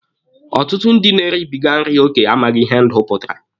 Ọtụtụ ndị na-eribiga nri oke amaghị ihe ndụ pụtara.